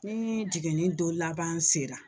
Ni jiginni don laban sera.